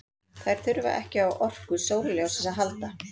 Þær þurfa ekki á orku sólarljóssins að halda.